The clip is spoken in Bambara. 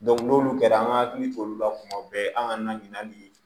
n'olu kɛra an ka hakili t'olu la kuma bɛɛ an ka na ɲina ni